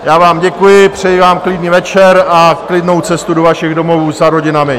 Já vám děkuji, přeji vám klidný večer a klidnou cestu do vašich domovů za rodinami.